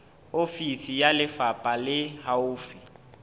ofisi ya lefapha le haufi